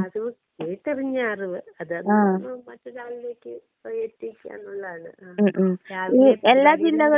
അറിവ് കേട്ടറിഞ്ഞ അറിവ് അത് കാരണം മറ്റൊരാളിലേക്ക് എത്തിക്കാന്നുള്ളതാണ് ഉം രാവിലെ.